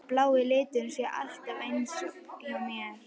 Að blái liturinn sé alltaf eins hjá mér?